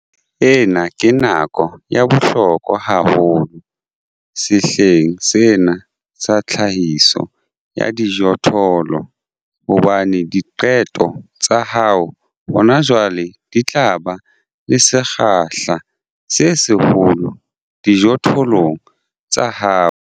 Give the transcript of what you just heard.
Ena ke nako ya bohlokwa haholo sehleng sena sa tlhahiso ya dijothollo hobane diqeto tsa hao hona jwale di tla ba le sekgahla se seholo dijothollong tsa hao.